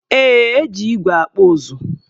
Ee, e ji igwe akpụ ụzụ.